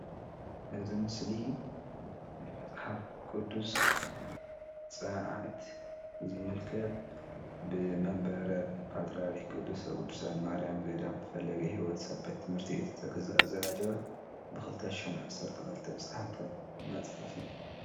እዚ ምስሊ ናይ መፅሓፍ ቅዱስ ፀረዓዓት ዝምልከት ብመንበረ ፓትራሪክ ቅድሰ ቅዱሳን ማርያም ገዳም ፈለገ ሂወት ሰንበት ትምህርቲቤት ዝተዘጋጀወ ብክልተ ሽሕን ዝተሓተመ መፅሓፍ እዩ፡፡